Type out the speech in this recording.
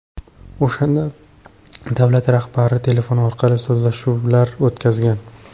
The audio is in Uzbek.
O‘shanda davlat rahbarlari telefon orqali so‘zlashuvlar o‘tkazgan.